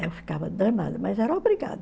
Eu ficava danada, mas era obrigada.